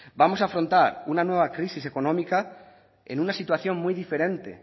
vamos a afrontar una nueva crisis económica en una situación muy diferente